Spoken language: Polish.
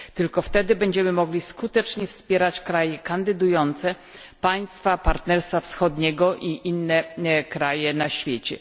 Tylko wtedy będziemy mogli skutecznie wspierać kraje kandydujące, państwa Partnerstwa Wschodniego i inne kraje na świecie.